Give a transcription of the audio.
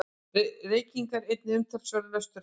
Reykingar eini umtalsverði lösturinn.